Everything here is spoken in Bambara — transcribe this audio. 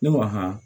Ne ko han